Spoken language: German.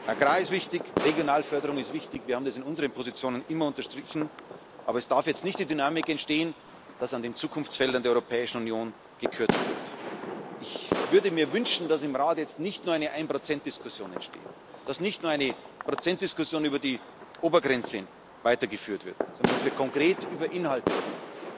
Agrar ist wichtig, Regionalförderung ist wichtig wir haben das in unseren Positionen immer unterstrichen aber es darf jetzt nicht die Dynamik entstehen, dass an den Zukunftsfeldern der Europäischen Union gekürzt wird. Ich würde mir wünschen, dass im Rat jetzt nicht nur eine Ein Prozent Diskussion entsteht, dass nicht nur eine Prozentdiskussion über die Obergrenze weitergeführt wird, sondern dass wir konkret über Inhalte reden.